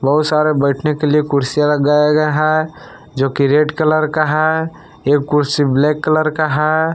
बहोत सारा बैठने के लिए कुर्सियां लगाया गया है जोकि रेड कलर का है एक कुर्सी ब्लैक कलर का है।